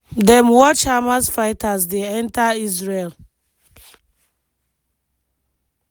dem watch hamas fighters dey enta israel.